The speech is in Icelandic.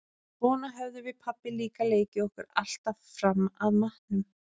Svona höfðum við pabbi líka leikið okkur alltaf fram að matnum.